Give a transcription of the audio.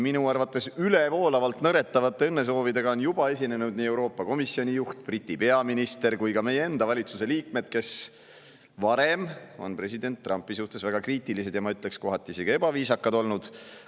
Minu arvates ülevoolavalt nõretavate õnnesoovidega on juba esinenud nii Euroopa Komisjoni juht, Briti peaminister kui ka meie enda valitsuse liikmed, kes varem on president Trumpi suhtes väga kriitilised ja – ma ütleksin – kohati isegi ebaviisakad olnud.